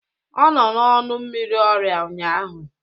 Ọ nọ n'ọnụ mmiri ọrịa ụnyaahụ